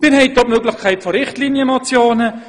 Sie haben zudem die Möglichkeit von Richtlinienmotionen.